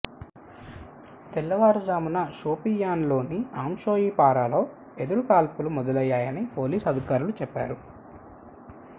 తెల్లవారు జామున షోపియాన్లోని అంషీపొరాలో ఎదురుకాల్పులు మొదలయ్యాయని పోలీసు అధికారి చెప్పారు